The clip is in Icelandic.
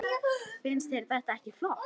Finnst þér þetta ekki flott?